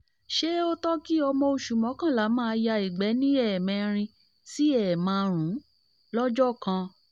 ṣe ó tọ́ kí ọmọ oṣù mọ́kànlá maa ya ìgbẹ́ ní ẹ̀mẹrin sí márùn-ún lọ́jọ́ kan